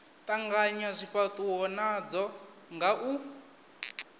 tanganya zwifhatuwo nadzo nga u